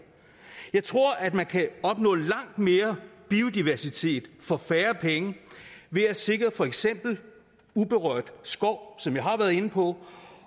jeg tror at man kan opnå langt mere biodiversitet for færre penge ved at sikre for eksempel uberørt skov som jeg har været inde på